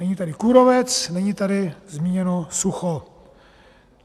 Není tady kůrovec, není tady zmíněno sucho.